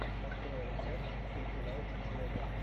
открой рецепт кэти лайф влога